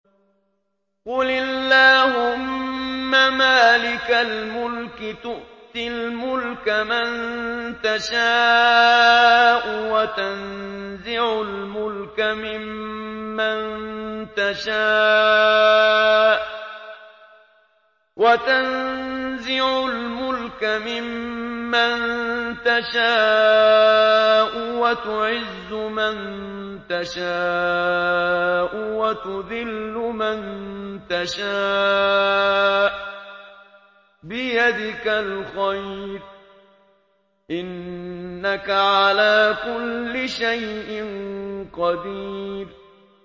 قُلِ اللَّهُمَّ مَالِكَ الْمُلْكِ تُؤْتِي الْمُلْكَ مَن تَشَاءُ وَتَنزِعُ الْمُلْكَ مِمَّن تَشَاءُ وَتُعِزُّ مَن تَشَاءُ وَتُذِلُّ مَن تَشَاءُ ۖ بِيَدِكَ الْخَيْرُ ۖ إِنَّكَ عَلَىٰ كُلِّ شَيْءٍ قَدِيرٌ